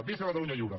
visca catalunya lliure